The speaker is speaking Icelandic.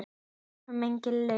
Ljúf minning lifir.